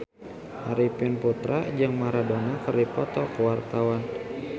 Arifin Putra jeung Maradona keur dipoto ku wartawan